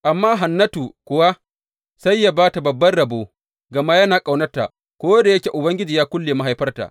Amma Hannatu kuwa sai yă ba ta babban rabo gama yana ƙaunarta ko da yake Ubangiji ya kulle mahaifarta.